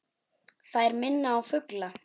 Þær minna á fugla.